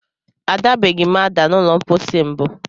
A dabeghị m ada n'ụlọ mkpọsi mbụ.